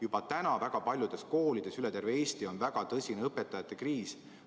Juba praegu on väga paljudes koolides üle terve Eesti väga tõsine õpetajate kriis.